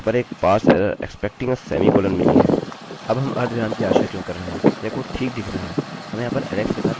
अब हम अर्धविराम की आशा क्यों कर रहे हैं यह कोड ठीक दिख रहा है हमें यहाँ पर alex के साथ एक वेरिएबल मिला है हमारे पास यहाँ पर alex के साथ एक अन्य वेरिएबल है